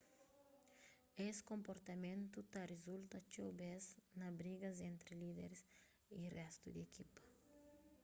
es konportamentu ta rizulta txeu bes na brigas entri líderis y réstu di ekipa